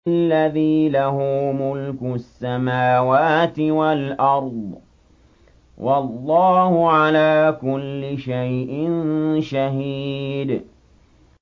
الَّذِي لَهُ مُلْكُ السَّمَاوَاتِ وَالْأَرْضِ ۚ وَاللَّهُ عَلَىٰ كُلِّ شَيْءٍ شَهِيدٌ